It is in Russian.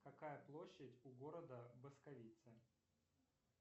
какая площадь у города басковица